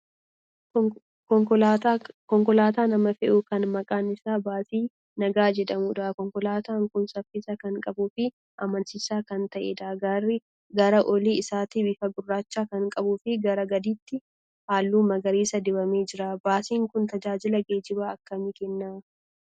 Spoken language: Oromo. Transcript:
Konkolaataa nama fe'u kan maqaan isaa baasii nagaa jedhamudha. Konkolaataan kun saffisa kan qabuu fi amansiisaa kan ta'edha. Gara olii isaatti bifa gurraacha kan qabuu fi gara gadiitti halluu magariisa dibamee jira. Baasiin kun tajaajila geejjibaa akkamii kenna?